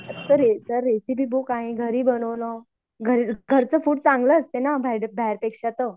sir recipe book आहे घरी बनवलं घरचं फूड चांगलं असतं ना बाहेरपेक्षा तर